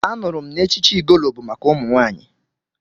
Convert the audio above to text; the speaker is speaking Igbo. Anụrụ m na echichi Igolo bụ maka ụmụ nwaanyị.